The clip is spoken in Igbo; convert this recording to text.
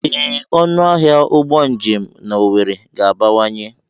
Ee, ọnụ ahịa ụgbọ njem na owerri ga-abawanye.